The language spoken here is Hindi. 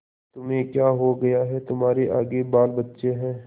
तुम्हें क्या हो गया है तुम्हारे आगे बालबच्चे हैं